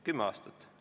Kümme aastat.